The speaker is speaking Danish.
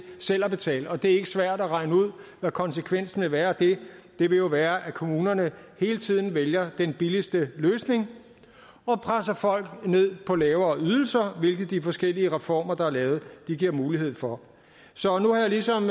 selv at betale og det er ikke svært at regne ud hvad konsekvensen vil være af det det vil jo være at kommunerne hele tiden vælger den billigste løsning og presser folk ned på lavere ydelser hvilket de forskellige reformer der er lavet giver mulighed for så nu har jeg ligesom